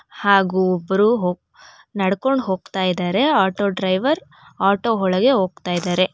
ಹಾಗು ಒಬ್ಬರು ಹೊ ನಡ್ಕೊಂಡ್ ಹೋಗ್ತಾ ಇದಾರೆ ಆಟೋ ಡ್ರೈವರ್ ಆಟೋ ಒಳಗೆ ಹೋಗ್ತಾ ಇದಾರೆ.